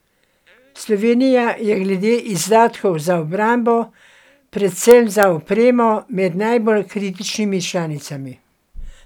Slovenija je glede izdatkov za obrambo, predvsem za opremo, med najbolj kritičnimi članicami.